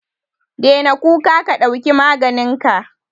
Daina kuka ka dauki maganinka.